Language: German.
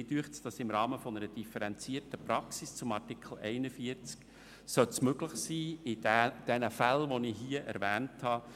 Mich dünkt, im Rahmen einer differenzierten Praxis zu Artikel 41 sollte es möglich sein, Fälle, wie ich sie hier erwähnt habe,